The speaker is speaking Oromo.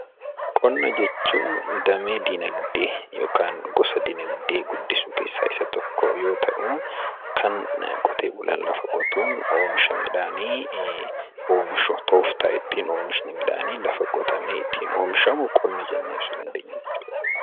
Qonna jechuun damee dinagdee yookaan gosa dinagdee guddisu keessaa isa tokko yoo ta'u, kan qote bulaan lafa qotuun oomisha midhaanii oomishu, tooftaa ittiin oomishni midhaanii lafa qotamee ittiin oomishamu Qonna jennee ibsuu dandeenya jechuu dha.